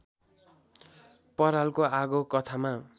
परालको आगो कथामा